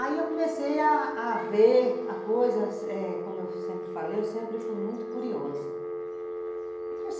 Aí eu comecei a a ver a coisa, como eu sempre falei, eu sempre fui muito curiosa.